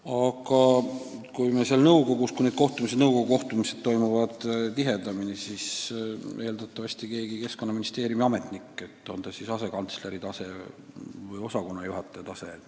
Aga kui nõukogu kohtumised toimuvad tihedamini, siis esindab Eestit eeldatavasti mõni Keskkonnaministeeriumi ametnik, näiteks asekantsler või osakonnajuhataja.